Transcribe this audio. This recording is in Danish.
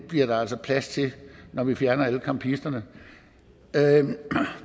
bliver der altså plads til når vi fjerner alle campisterne